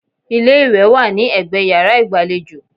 Ilé-ìwẹ̀ wà ní ẹgbẹ́ yàrá ìgbàlejò